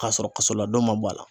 K'a sɔrɔ kasoladon ma bɔ a la